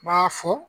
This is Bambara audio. N b'a fɔ